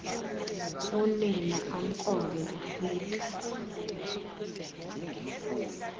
unina amkrobe ufika